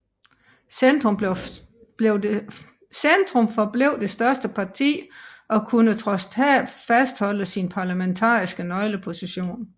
Centrum forblev det største parti og kunne trods tab fastholde sin parlamentariske nøgleposition